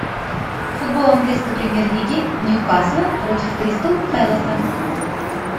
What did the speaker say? футбол английской премьер лиги ньюкасла против кристал пэласа